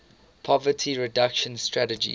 poverty reduction strategy